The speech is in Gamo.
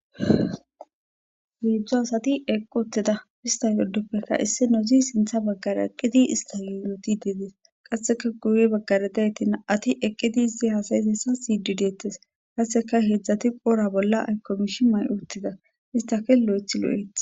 Hedzdzu asati eeqii uuttida ista giddoppekka sinththa baggara eqqidi istas yootidii de'es qasekka guye baggara de'iyayittikka isti hasyizyssa esson siyiddi dettes qasekka hedzdzati qoodha bolla aykko miishshii matii uuttida istakka lo'oeththi lo'oeththi